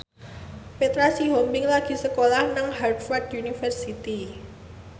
Petra Sihombing lagi sekolah nang Harvard university